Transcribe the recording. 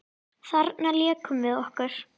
Þarna lékum við okkur.